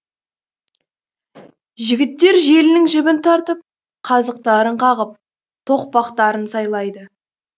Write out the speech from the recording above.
жігіттер желінің жібін тартып қазықтарын қағып тоқпақтарын сайлайды